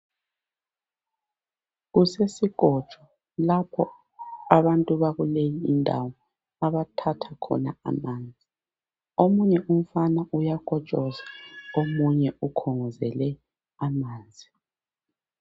Kusesikotsho lapho abantu bakuleyi ndawo abakha khona amanzi omunye umfana uyakotshoza omunye ukhongozele amanzi.